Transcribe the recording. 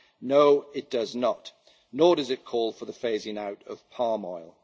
No, it does not! Nor does it call for the phasing out of palm